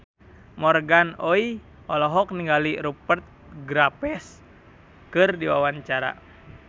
Morgan Oey olohok ningali Rupert Graves keur diwawancara